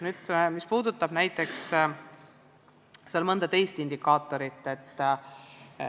Nüüd mõnest teisest indikaatorist.